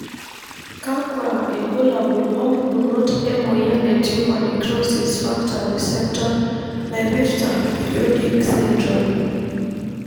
kakwa ilbulabul opukunoto emoyian etumor necrosis factor receptor naipirta periodic syndrome?